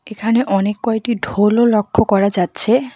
এখানে অনেক কয়টি ঢোলও লক্ষ করা যাচ্ছে।